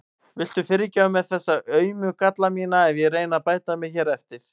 Viltu fyrirgefa mér þessa aumu galla mína ef ég reyni að bæta mig hér eftir?